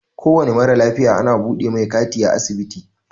Kowane mara lafiya ana buɗe mai kati a asibiti.